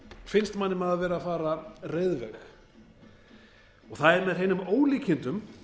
finnst manni maður vera að fara reiðveg það er með hreinum ólíkindum